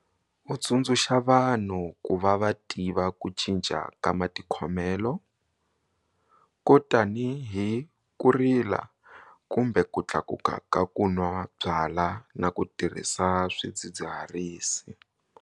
U tsundzuxa vanhu ku va va tiva ku cinca ka mati khomelo, ko tanihi ku rila kumbe ku tlakuka ka ku nwa byalwa na ku tirhisa swidzidziharisi.